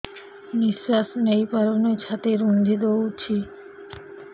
ନିଶ୍ୱାସ ନେଇପାରୁନି ଛାତି ରୁନ୍ଧି ଦଉଛି